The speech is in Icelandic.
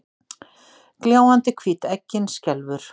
Gljáandi hvít eggin skelfur.